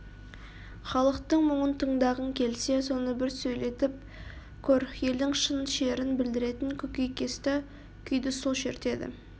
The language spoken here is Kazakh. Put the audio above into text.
халықтың мұңын тыңдағың келсе соны бір сөйлетіп көр елдің шын шерін білдіретін көкейкесті күйді сол шертеді